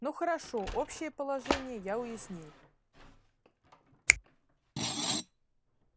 ну хорошо общее положение я уяснил